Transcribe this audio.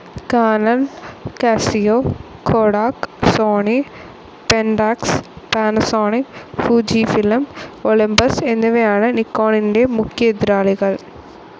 Canon, Casio, Kodak, Sony, Pentax, Panasonic, Fujifilm, Olympus എന്നിവയാണ് നിക്കോണിൻറെ മുഖ്യ എതിരാളികൾ.